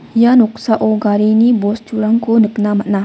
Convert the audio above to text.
ia noksao garini bosturangko nikna man·a.